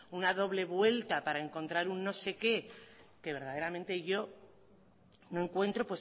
una doble vuelta para encontrar un no sé qué que verdaderamente yo no encuentro